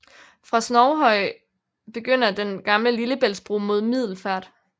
Fra Snoghøj begynder den Gamle Lillebæltsbro mod Middelfart